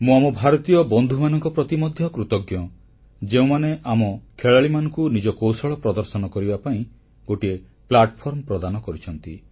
ମୁଁ ଆମ ଭାରତୀୟ ବନ୍ଧୁମାନଙ୍କ ପ୍ରତି ମଧ୍ୟ କୃତଜ୍ଞ ଯେଉଁମାନେ ଆମ ଖେଳାଳିମାନଙ୍କୁ ନିଜ କୌଶଳ ପ୍ରଦର୍ଶନ କରିବା ପାଇଁ ଗୋଟିଏ ପ୍ଲାଟଫର୍ମ ପ୍ରଦାନ କରିଛନ୍ତି